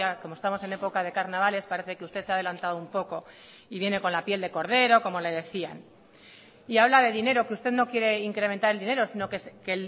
como estamos en época de carnavales parece que usted se ha adelantado un poco y viene con la piel de cordero como le decían y habla de dinero que usted no quiere incrementar el dinero sino que